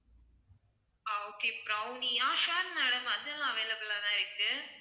ஆஹ் okay brownie ஆ sure madam அதெல்லாம் available ஆ தான் இருக்கு